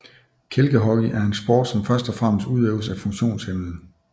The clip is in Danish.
Kælkehockey er en sport som først og fremmest udøves af funktionshæmmede